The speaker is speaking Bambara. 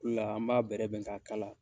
la an b'a bɛrɛ bɛn k'a kala.